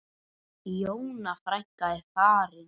Jóna frænka er farin.